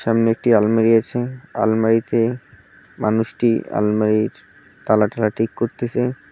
সামনে একটি আলমারি আছে আলমারিতে মানুষটি আলমারির তালা ঠালা ঠিক করতেসে।